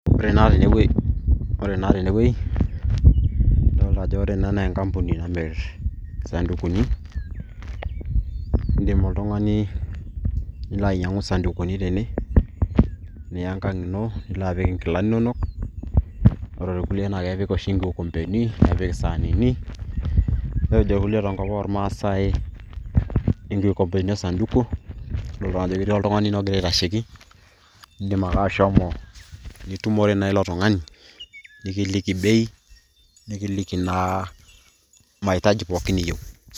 Ore naa tenewoi, adolta ajo ore ena na enkampuni namir isadukuni, iidim oltung'ani nilo ainyang'u isadukuni tene, niya enkang' nilo apik inkilani nonok. Ore ilkulie na kepik oshi inkilompeni, nepik isaanini. Nejo ilkulie tenkop ormaasai inkikompeni osaduku, amu aidol najo etii oltung'ani ogira aitasheki. Idim ake ashomo nitumore naa ilo tung'ani, nikiliki bei, nikiliki naa mahitaji pooki niyieu.